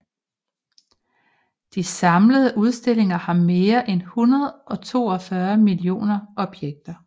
De samlede udstillinger har mere end 142 millioner objekter